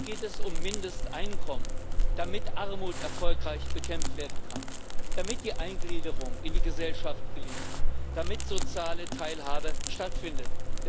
Hier geht es um Mindesteinkommen, damit Armut erfolgreich bekämpft werden kann, damit die Eingliederung in die Gesellschaft gelingt, damit soziale Teilhabe stattfindet.